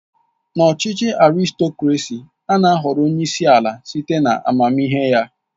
N'ọchịchị Arịstokrasị, ana ahọrọ onyeisi ala site na amamihe ya.